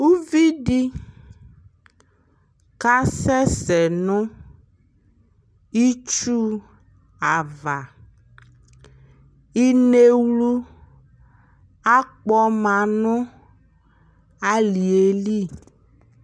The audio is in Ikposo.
ʋvidi kasɛsɛ nʋ itsʋ aɣa, inɛwlʋ akpɔma nʋ aliɛli